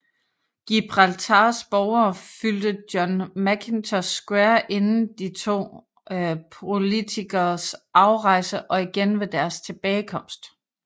Gibraltars borgere fyldte John Mackintosh Square inden de to politikeres afrejse og igen ved deres tilbagekomst